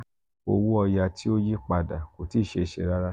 owo oya ti o yipada ko ti e se se rara.